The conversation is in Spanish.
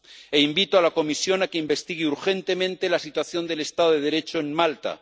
E invito a la Comisión a que investigue urgentemente la situación del Estado de Derecho en Malta.